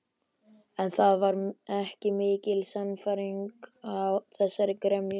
En það var ekki mikil sannfæring í þessari gremju.